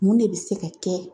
Mun de bɛ se ka kɛ